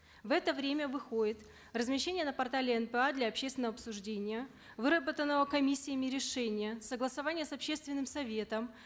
в это время выходит размещение на портале нпа для общественного обсуждения выработанного комиссиями решения согласования с общественным советом